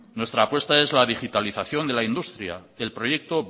nuestra apuesta es la digitalización de la industria el proyecto